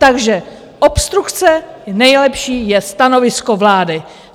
Takže obstrukce - nejlepší je stanovisko vlády.